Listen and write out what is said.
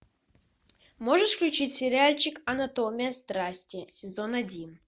можешь включить сериальчик анатомия страсти сезон один